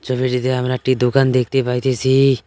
ছবিটিতে আমরা একটি দোকান দেখতে পাইতেসি।